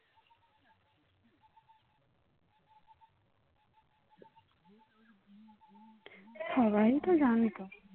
সবাই তো জানতো